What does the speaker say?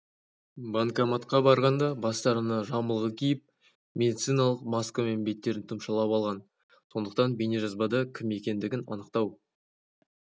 банкоматқа барғанда бастарына жамылғы киіп медициналық маскамен беттерін тұмшалап алған сондықтан бейнежазбада кім екендігін анықтау